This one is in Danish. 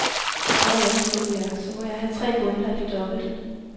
Nå ja, sukkede jeg, så må jeg have tre bundter af de dobbelte.